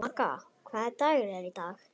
Vaka, hvaða dagur er í dag?